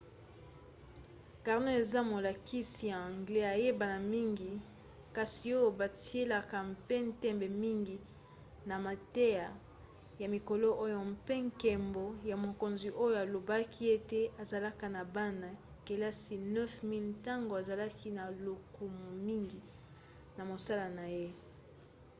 karno eza molakisi ya anglais ayebana mingi kasi oyo batielaka mpe ntembe mingi na mateya ya mikolo oyo mpe nkembo ya mokonzi oyo alobaki ete azalaki na bana-kelasi 9 000 ntango azalaki na lokumu mingi na mosala na ye